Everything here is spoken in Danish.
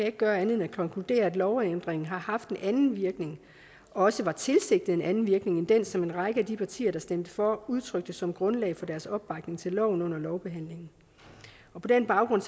ikke gøre andet end at konkludere at lovændringen har haft en anden virkning og også var tilsigtet en anden virkning end den som en række af de partier der stemte for udtrykte som grundlag for deres opbakning til loven under lovbehandlingen på den baggrund